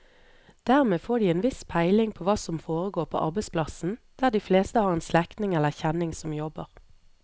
Dermed får de en viss peiling på hva som foregår på arbeidsplassen der de fleste har en slektning eller kjenning som jobber.